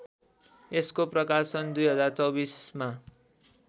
यसको प्रकाशन २०२४ मा